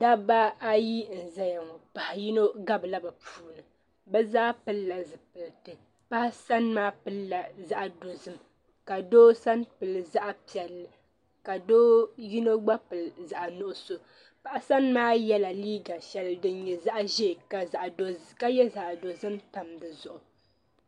Dabba ayi n zaya ŋɔ paɣa yino gabi la bi puuni bi zaa pili la zipiliti paɣa sani maa pili la zaɣa dozim ka doo sani pili zaɣa piɛlli ka doo yino gba pili zaɣa nuɣusu paɣa sani maa yɛla liiga sheli din nyɛ zaɣa ʒee ka yɛ zaɣa dozim tam di zuɣu.